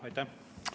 Aitäh!